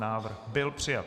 Návrh byl přijat.